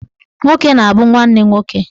Nwoke na-abụ nwanne nwoke